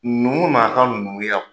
Numu n'a ka numuya.